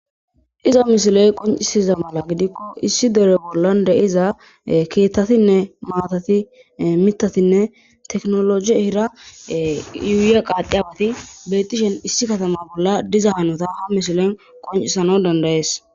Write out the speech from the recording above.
Iza mishiley qoncisiza mala gidikko issi dere bollan de7iza keettatinne maatati mitatinne teknologi hira yuuya qaadiabati beetishen issi katama bolla diza hanota ha mishilen qoncisano dandayees